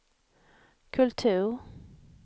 kultur